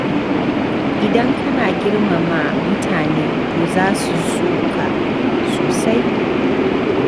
Idan kana girmama mutane to za su so ka sosai.